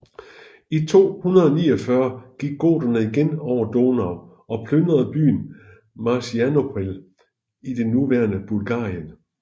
I 249 gik goterne igen over Donau og plyndrede byen Marcianopel i det nuværende Bulgarien